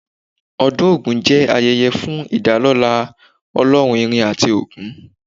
Ọdún Ògún jẹ́ ayẹyẹ fún ìdálọ́lá ọlọ́run irin àti ogun.